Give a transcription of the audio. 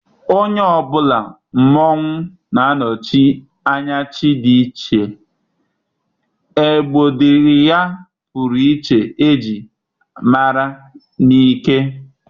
onye ọ bụla mmonwu na-anọchi anya chi dị iche, egbodying ya pụrụ iche e ji mara na ike.